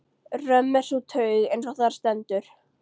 Römm er sú taug, eins og þar stendur